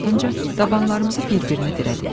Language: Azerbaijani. Ardınca dabalarımızı bir-birinə dirədik.